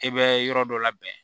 I bɛ yɔrɔ dɔ labɛn